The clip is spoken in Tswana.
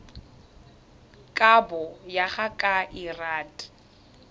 kabo go ya ka lrad